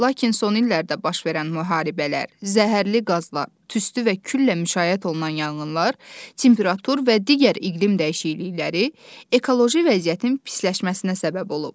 Lakin son illərdə baş verən müharibələr, zəhərli qazlar, tüstü və küllə müşayiət olunan yanğınlar, temperatur və digər iqlim dəyişiklikləri ekoloji vəziyyətin pisləşməsinə səbəb olur.